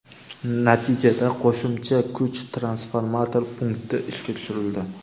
Natijada qo‘shimcha kuch transformator punkti ishga tushirildi.